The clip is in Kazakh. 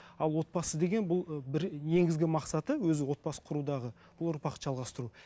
а отбасы деген бұл ы бір негізгі мақсаты өзі отбасы құрудағы ол ұрпақты жалғастыру